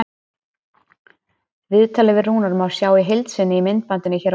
Viðtalið við Rúnar má sjá í heild sinni í myndbandinu hér að ofan.